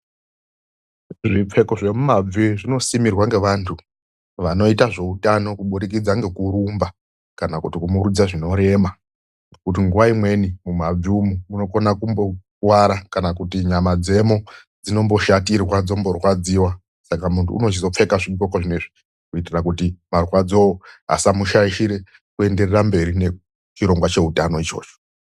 Zvipfeko zvemimabvi zvinosimirwa ngevantu vanoita zveutano kubudikidza ngekurumba kana kuti kumurudza zvinorema. Kuti nguwa imweni mumabvi umwu munokona kumbokuwara, kana kuti nyama dzemo dzinomboshatirwa, dzomborwadziwa. Saka munthu unochizopfeka zvidgoko zvinezvi. Kuita kuti marwadzoo asamushaishira kuenda mberi nechirongwa cheutano ichocho.